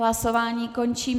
Hlasování končím.